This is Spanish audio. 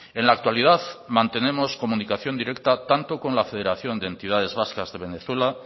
en la actualidad mantenemos comunicación directa tanto con la federación de entidades vascas de venezuela